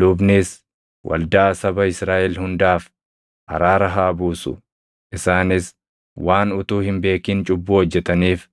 Lubnis waldaa saba Israaʼel hundaaf araara haa buusu; isaanis waan utuu hin beekin cubbuu hojjetaniif,